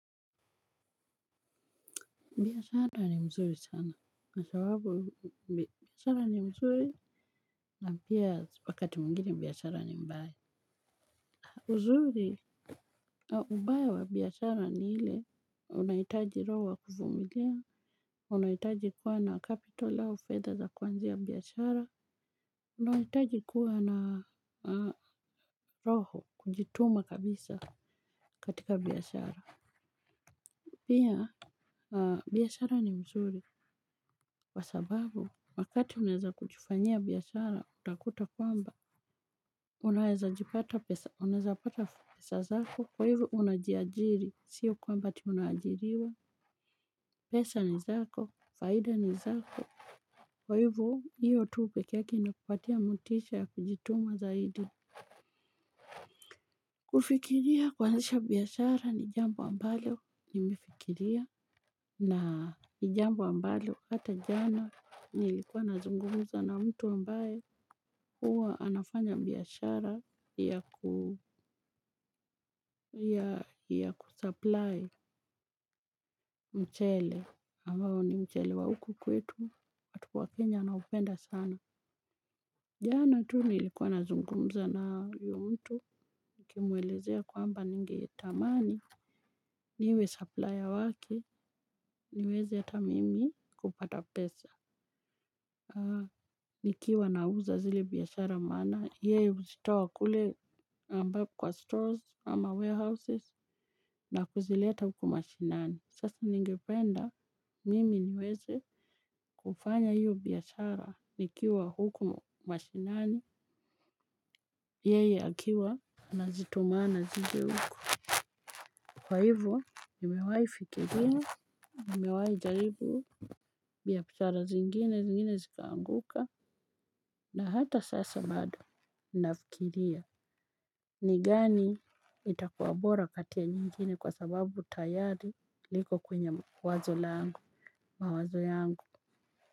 Biashara ni mzuri sana, kwa sababu, biashara ni mzuri, na pia wakati mwingine biashara ni mbaya. Uzuri, ubaya wa biashara ni ile, unahitaji roho wa kuvumilia, unahitaji kuwa na kapito au fedha za kuanzia biashara, unahitaji kuwa na roho kujituma kabisa katika biashara. Pia, biashara ni mzuri, kwa sababu, wakati unaeza kujifanyia biashara, utakuta kwamba, unaweza pata pesa zako, kwa hivyo unajiajiri, sio kwamba ati unaajiriwa, pesa ni zako, faida ni zako, kwa hivyo, hiyo tu pekee yake inakupatia motisha ya kujituma zaidi. Kufikiria kuanzisha biashara ni jambo ambalo nimefikiria na ni jambo ambalo ata jana nilikuwa nazungumza na mtu ambaye huwa anafanya biashara ya ya kusupply mchele ambao ni mchele wa huku kwetu watu wa Kenya wana upenda sana. Jana tu nilikuwa nazungumza na huyo mtu nikimwelezea ya kwamba ningetamani niwe supplier wake niweze ata mimi kupata pesa. Ikiwa nauza zile biashara maana yeye huzitoa kule ambao kwa store ama warehouses na kuzileta huku mashinani. Sasa ningependa mimi niweze kufanya hio biashara nikiwa huku mashinani yeye akiwa. Nazitumana zije huku, kwa hivyo, nimewahi fikiria, nimewahi jaribu. Biashara zingine zingine zikaanguka na hata sasa bado nafikiria. Ni gani itakua bora kati ya nyengine kwa sababu tayari niko kwenye wazo langu, mawazo yangu.